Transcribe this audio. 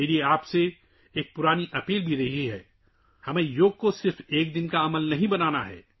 میری آپ سے پہلے سے ہی ایک درخواست بھی رہی ہےکہ ہمیں یوگا کو صرف ایک دن کی مشق نہیں بنانا ہے